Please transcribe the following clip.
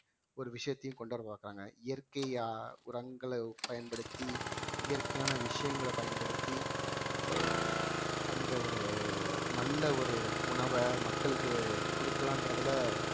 ஒரு விஷயத்தையும் கொண்டு வர மாட்டாங்க இயற்கையா உரங்கள பயன்படுத்தி இயற்கையான விஷயங்கள பயன்படுத்தி அந்த ஒரு நல்ல ஒரு உணவை மக்களுக்கு கொடுக்கலான்றதுல